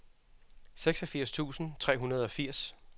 seksogfirs tusind tre hundrede og firs